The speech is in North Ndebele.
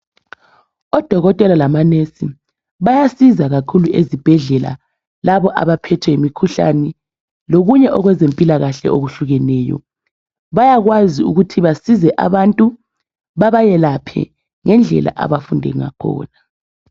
Odokotela lamanesi bayasiza kakhulu ezibhedlela labo abaphethwe yimkhuhlane lokunye owezempilakahle okuhlukeneyo bayakwazi ukuthi basize abantu babayelaphe ngendlela abafunde ngakhona.